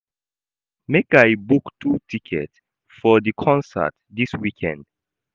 Make I book two tickets for di concert dis weekend?